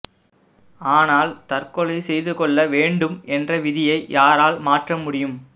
ஆனால் தற்கொலை செய்துகொள்ள வேண்டும் என்ற விதியை யாரால் மாற்ற முடியும்